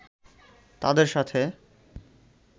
তাদের সাথে